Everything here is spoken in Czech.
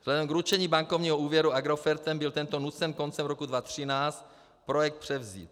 Vzhledem k ručení bankovního úvěru Agrofertem byl tento nucen koncem roku 2013 projekt převzít.